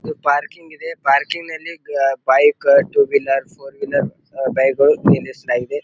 ಇದು ಪಾರ್ಕಿಂಗ್ ಇದೆ ಪಾರ್ಕಿಂಗ್ ನಲ್ಲಿ ah bike two wheeler four wheeler ah ಬೈಕ್ಗಳು ನಿಲ್ಲಿಸ್ತಾ ಇದೆ.